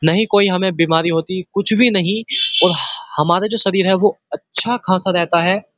नहीं कोई हमे बीमारी होती कुछ भी नहीं और हमारा जो शरीर है वो अच्छा-खाशा रहता है।